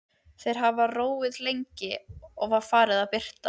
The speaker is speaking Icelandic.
Þeir hafa róið lengi og Það er farið að birta.